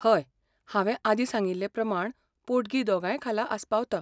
हय, हांवें आदीं सांगिल्ले प्रमाण पोटगी दोगांय खाला आस्पावता.